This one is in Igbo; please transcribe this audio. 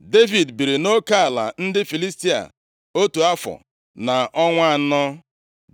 Devid biri nʼoke ala ndị Filistia otu afọ na ọnwa anọ.